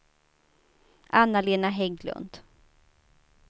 Anna-Lena Hägglund